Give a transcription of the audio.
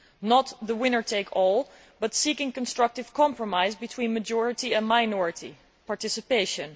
not the winner takes all, but seeking constructive compromise between majority and minority participation.